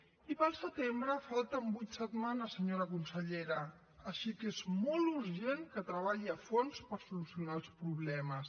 i per al setembre falten vuit setmanes senyora consellera així que és molt urgent que treballi a fons per solucionar els problemes